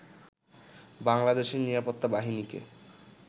বাংলাদেশের নিরাপত্তা বাহিনীকে